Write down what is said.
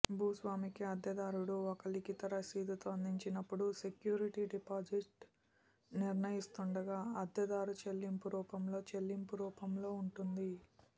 భూస్వామికి అద్దెదారుడు ఒక లిఖిత రసీదుతో అందించినప్పుడు సెక్యూరిటీ డిపాజిట్ నిర్ణయిస్తుండగా అద్దెదారు చెల్లింపు రూపంలో చెల్లింపు రూపంలో ఉంటుంది